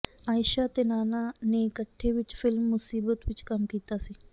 ਆਈਸ਼ਾ ਅਤੇ ਨਾਨਾ ਨੇ ਇਕੱਠੇ ਵਿੱਚ ਫਿਲਮ ਮੁਸੀਬਤ ਵਿੱਚ ਕੰਮ ਕੀਤਾ ਸੀ